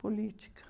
Política.